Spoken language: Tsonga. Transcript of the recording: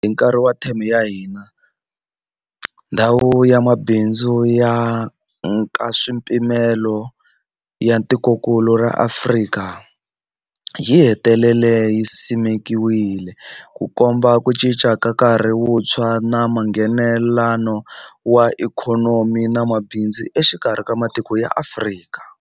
Hi nkarhi wa theme ya hina, Ndhawu ya Mabindzu ya Nkaswipimelo ya Tikokulu ra Afrika yi hetelele yi simekiwile, Ku komba ku cinca ka nkarhi wuntshwa wa Nghenelelano wa ikhonomi na mabindzu exikarhi ka matiko ya Afrika.